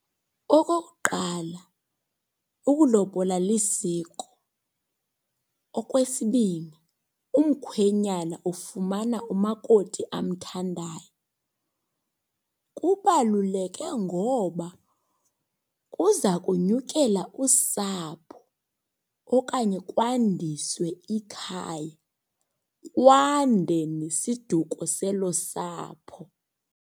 Okokuqala, ukulobola lisiko. Okwesibini, umkhwenyana ufumana umakoti amthandayo. Kubaluleke ngoba kuza kunyukela usapho okanye kwandiswe ikhaya, kwande nesiduko selo sapho.